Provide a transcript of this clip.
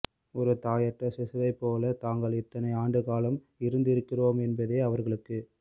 ஒரு தாயற்ற சிசுவைப் போலத் தாங்கள் இத்தனை ஆண்டுக்காலம் இருந்திருக்கிறோம் என்பதே அவர்களுக்கு